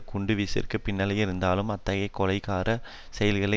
குண்டு வீச்சிற்கு பின்னணியில் இருந்தாலும் அத்தகைய கொலைகாரச் செயல்கள்